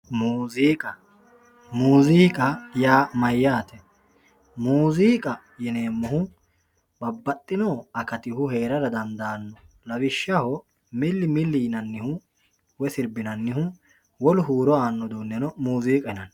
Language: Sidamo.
muzuqa muzuqa ya mayate muziqa yinemohu babaxino akatihu herara dandano lawishaho mili mili yinanihu woyi siribinanihu wolu huro ano udeneno muziqa yinanni